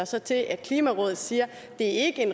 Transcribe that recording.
sig til at klimarådet siger